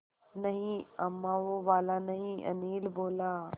नहीं अम्मा वो वाला नहीं अनिल बोला